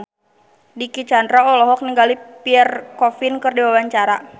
Dicky Chandra olohok ningali Pierre Coffin keur diwawancara